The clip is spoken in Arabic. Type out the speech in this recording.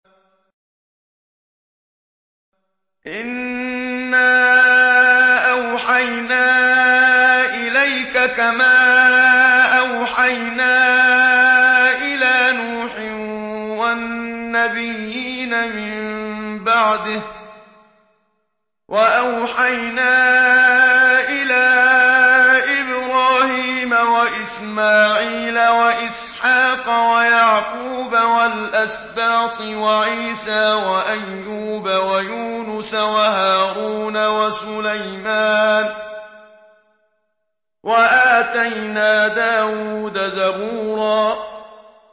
۞ إِنَّا أَوْحَيْنَا إِلَيْكَ كَمَا أَوْحَيْنَا إِلَىٰ نُوحٍ وَالنَّبِيِّينَ مِن بَعْدِهِ ۚ وَأَوْحَيْنَا إِلَىٰ إِبْرَاهِيمَ وَإِسْمَاعِيلَ وَإِسْحَاقَ وَيَعْقُوبَ وَالْأَسْبَاطِ وَعِيسَىٰ وَأَيُّوبَ وَيُونُسَ وَهَارُونَ وَسُلَيْمَانَ ۚ وَآتَيْنَا دَاوُودَ زَبُورًا